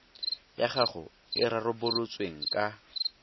ya gago e rarabolotsweng ka